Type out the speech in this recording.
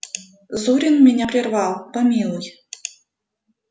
зурин меня прервал помилуй